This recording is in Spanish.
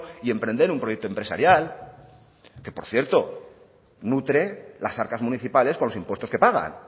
y emprender un proyecto empresarial que por cierto nutre las arcas municipales con los impuestos que pagan